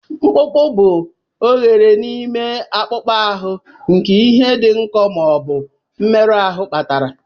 Mkpụkpụ bụ oghere n'ime akpụkpọ ahụ nke ihe dị nkọ ma ọ bụ mmerụ ahụ kpatara.